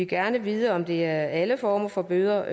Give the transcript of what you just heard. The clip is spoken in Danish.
gerne vide om det er alle former for bøder